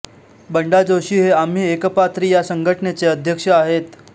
बंडा जोशी हे आम्ही एकपात्री या संघटनेचे अध्यक्ष आहेत